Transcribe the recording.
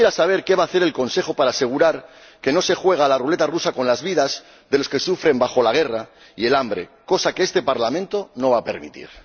Y quisiera saber qué va a hacer el Consejo para asegurar que no se juega a la ruleta rusa con las vidas de los que sufren bajo la guerra y el hambre, cosa que este Parlamento no va a permitir.